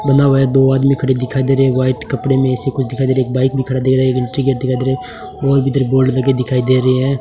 बना हुआ है दो आदमी खड़े दिखाई दे रही है वाइट कपड़े में ऐसी कुछ दिखाई दे एक बाइक भी खड़ा दे रहा है एक बोर्ड लगा दिखा दे दिखाई दे रही है।